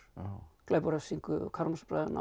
glæp og refsingu Karamazov bræðurna og